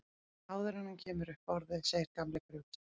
Áður en hann kemur upp orði segir gamli gröfustjórinn